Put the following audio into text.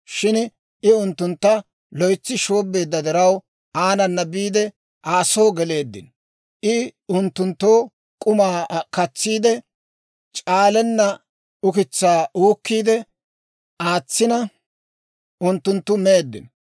Shin I unttuntta loytsi shoobbeedda diraw, aanana biide Aa soo geleeddino; I unttunttoo k'umaa katsiide, c'aalenna ukitsaa uukkiide aatsina, unttunttu meeddino.